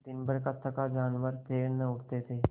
दिनभर का थका जानवर पैर न उठते थे